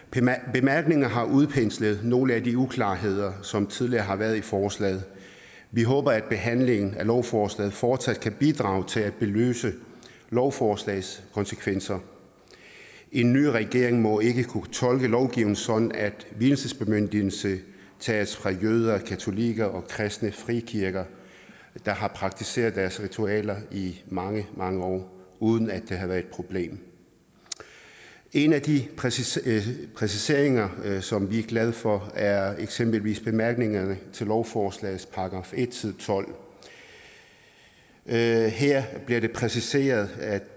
bemærkningerne har udpenslet nogle af de uklarheder som tidligere har været i forslaget vi håber at behandlingen af lovforslaget fortsat kan bidrage til at belyse lovforslagets konsekvenser en ny regering må ikke kunne tolke lovgivningen sådan at vielsesbemyndigelse tages fra jøder katolikker og kristne frikirker der har praktiseret deres ritualer i mange mange år uden at det har været et problem en af de præciseringer præciseringer som vi er glade for er eksempelvis bemærkningerne til lovforslagets § en side tolvte her her bliver det præciseret at